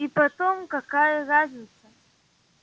и потом какая разница